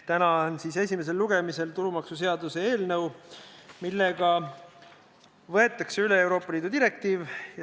Täna on esimesel lugemisel tulumaksuseaduse eelnõu, millega võetakse üle Euroopa Liidu direktiiv.